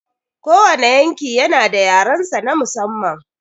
Kowane yanki yana da yarensa na musamman.